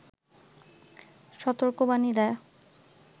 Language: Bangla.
সতর্কবাণী দেয়